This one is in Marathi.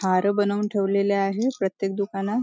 हार बनवून ठेवलेले आहे प्रत्येक दुकानात.